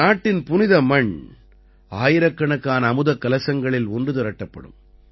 நாட்டின் புனித மண் ஆயிரக்கணக்கான அமுதக் கலசங்களில் ஒன்று திரட்டப்படும்